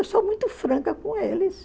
Eu sou muito franca com eles.